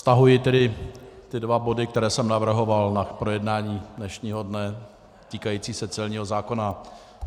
Stahuji tedy ty dva body, které jsem navrhoval k projednání dnešního dne, týkající se celního zákona.